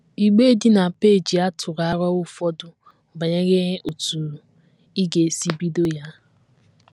Igbe dị na peeji a tụrụ aro ụfọdụ banyere otú ị ga - esi ebido ya.